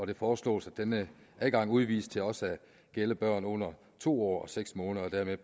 det foreslås at denne adgang udvides til også at gælde børn under to år og seks måneder og dermed